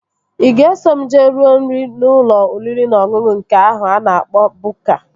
Ị ga-eso m jee rue nri n'ụlọ oriri na ọṅụṅụ nke ahụ a na-akpọ Bukka?